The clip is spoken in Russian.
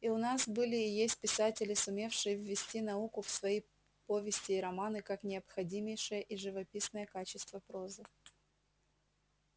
и у нас были и есть писатели сумевшие ввести науку в свои повести и романы как необходимейшее и живописное качество прозы